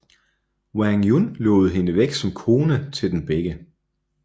Wang Yun lovede hende væk som kone til dem begge